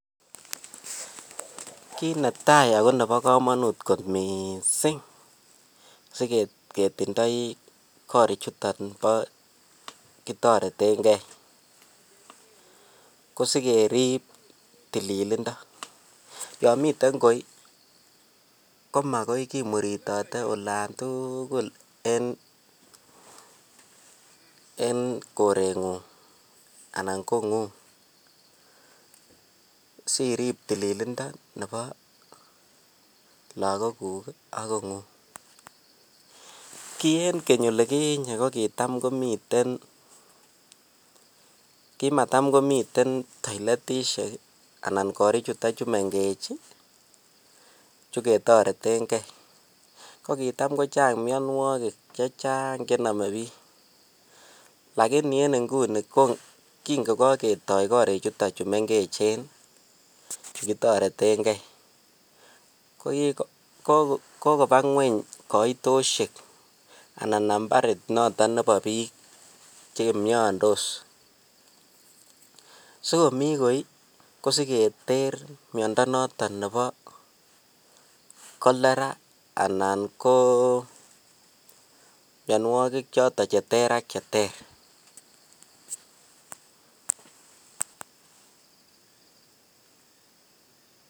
Kiit netaai akoo nebokomonut kot mising siketindoi korichuton bo kitoreteng'e ko sikerib tililindo, yoon miten koi komakoi kimuritote olaan tukul en koreng'ung anan kong'ung, siriib tililindo nebo lokokuk ak kong'ung, kii en keny olikinye ko kitam komiten, kimatam komiten toiletishek anan korii chuton chuu meng'ech chuu ketoreteng'e, ko kitam kochang mionwokik chechang chenome biik lakini en inguni ko king'o ko ketoi korichuton chuu meng'echen chuu kitoreteng'e ko kokoba ngweny koitoshek anan nambarit noton nebo biik chemiondos, sikomii koi ko siketer miondo noton nebo kolera anan ko mionwokik choton cheter ak cheter.